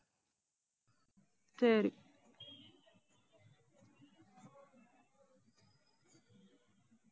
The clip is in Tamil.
சரி